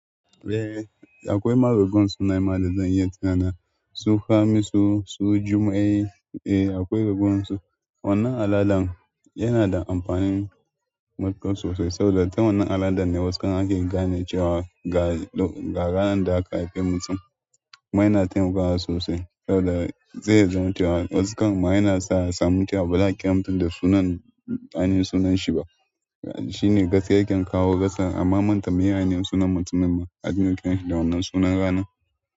Eh, akwai marogon sunaye ma da zan iya tunawa su Hamisu, su Jummai. Eh akwai raguwan su wannan al'adan yana da amfani matuƙa sosai saboda ta wannan al'adan ne wasu kam ake gane cewa ga--ga ranar da aka haife mutum. Kuma ya na taimakawa sosai saboda zai iya zaman cewa wasu kamma ya na sa wa a samu cewa ba za a kira mutum da sunan--ainihin sunan shi ba. Shi ne gaskiya yace in kawo kasan amma manta me ye ainihin sunan mutumin ma. A dinga kiranshi da wannan sunan ranan.